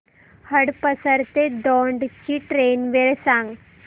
हडपसर ते दौंड ची ट्रेन वेळ सांग